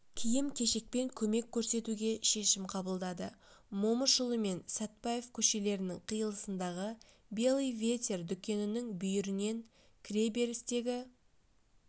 киім-кешекпен көмек көрсетуге шешім қабылдады момышұлы мен сәтпаев көшелерінің қиылысындағы белый ветер дүкенінің бүйірінен кіреберістегі